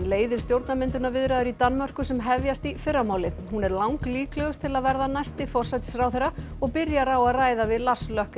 leiðir stjórnarmyndunarviðræður í Danmörku sem hefjast í fyrramálið hún er langlíklegust til að verða næsti forsætisráðherra og byrjar á að ræða við Lars